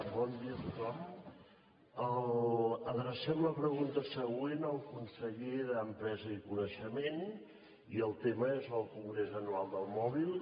bon dia a tothom adrecem la pregunta següent al conseller d’empresa i coneixement i el tema és el congrés anual del mòbil